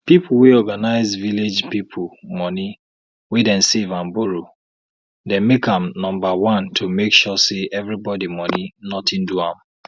people wey organize village people money wey dem save and borrow dey make am number one to make sure say everybody money nothing do am